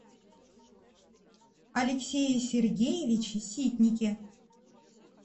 алексее сергеевиче ситнике